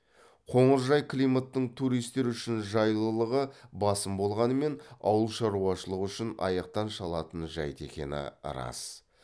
қоңыржай климаттың туристер үшін жайлылығы басым болғанымен ауыл шаруашылығы үшін аяқтан шалатын жайт екені рас